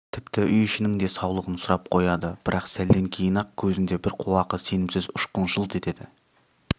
тіпті үй-ішінің де саулығын сұрап қояды бірақ сәлден кейін-ақ көзінде бір қуақы сенімсіз ұшқын жылт етеді